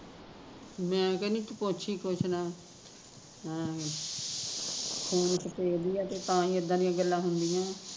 ਮੈਂ ਕਹਿੰਦੀ ਤੂ ਪੁੱਛ ਹੀਂ ਕੁਸ਼ ਨਾ ਐਵੈ ਈ ਖੂਨ ਸਫੇਦ ਈ ਐ ਤੇ ਤਾਂ ਹੀਂ ਇੱਦਾਂ ਦੀਆ ਗੱਲਾ ਹੁੰਦੀਆ ਆ